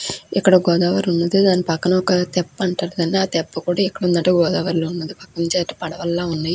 ఇక్కడ గోదావరి ఉంది. దాన్ పక్కన ఒక తెప్ప ఉంది. ఆ తెప్ప ఎక్కడ ఉందంటే గోదావరి లో ఉంది.